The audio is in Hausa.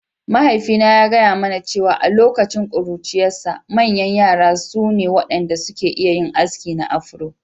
Mahaifina ya gaya mana cewa a lokacin ƙuruciyarsa, manyan yara su ne waɗanda suke iya yin aski na Afro.